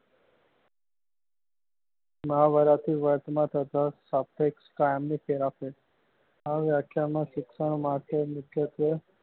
મહાભારત ના આ વ્યાખ્યા માં શિક્ષણ માથે મુખ્યત્વે